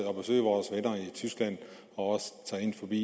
tyskland og også tage ind forbi